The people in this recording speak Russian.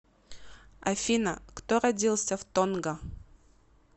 афина кто родился в тонга